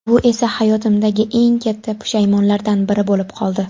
Bu esa hayotimdagi eng katta pushaymonlardan biri bo‘lib qoldi.